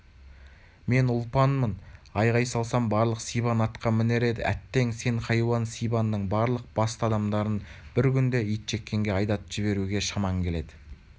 мен ұлпанмын айғай салсам барлық сибан атқа мінер еді әттең сен хайуан сибанның барлық басты адамдарын бір күнде итжеккенге айдатып жіберуге шаман келеді